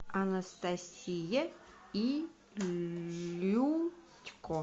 анастасия илютько